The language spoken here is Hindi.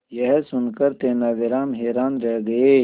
यह सुनकर तेनालीराम हैरान रह गए